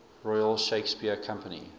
royal shakespeare company